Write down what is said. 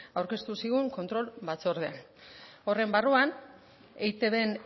aurkeztu zigun kontrol batzordean horren barruan eitbn